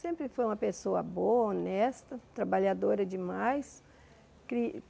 Sempre foi uma pessoa boa, honesta, trabalhadora demais.